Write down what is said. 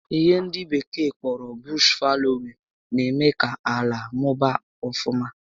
Ihe ndị bekee kpọrọ 'bush faloin' na-eme ka ala mụbaa ọfụma